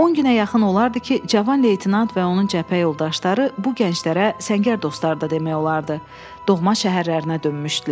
On günə yaxın olardı ki, Cavan leytenant və onun cəbhə yoldaşları bu gənclərə səngər dostları da demək olardı, doğma şəhərlərinə dönmüşdülər.